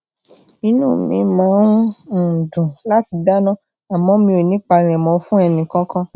inú mi mi máa ń um dùn láti dana àmó mi ò ní palemo fun eni kookan